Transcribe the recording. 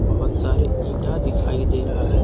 बहुत सारे इंटा दिखाई दे रहा है।